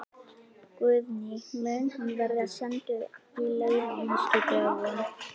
Guðný: Mun hann verða sendur í leyfi á næstu dögum?